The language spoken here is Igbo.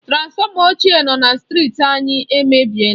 Transfọma ochié nọ na strịti anyị èmèbịèlà